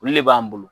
Olu le b'an bolo